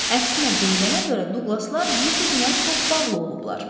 Əksinə, deyilənə görə Duqlaslar bir-birinə çox bağlı olublar.